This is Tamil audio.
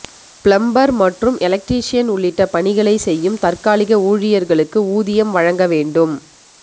பிளம்பர் மற்றும் எலக்ட்ரீசியன் உள்ளிட்ட பணிகளை செய்யும் தற்காலிக ஊழியர்களுக்கு ஊதியம் வழங்க வேண்டும்